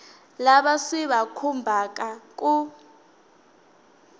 lava swi va khumbhaka ku